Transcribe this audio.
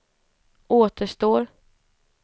återstår